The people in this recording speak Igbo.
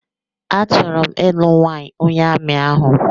A chọrọ m ịlụ nwanyị onye amị ahụ